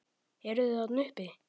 Eruð þið þarna uppi!